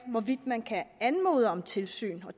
hvorvidt man kan anmode om tilsyn